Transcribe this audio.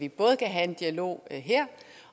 vi både kan have en dialog her